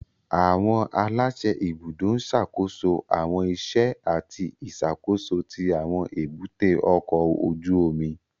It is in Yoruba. Àwọn aláṣẹ ibùdó ń ṣàkóso àwọn iṣẹ́ àti ìṣàkóso tí àwọn èbúté ọkọ̀ ojú omi